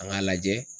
An k'a lajɛ